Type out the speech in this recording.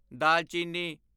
ਦਾਲਚੀਨੀ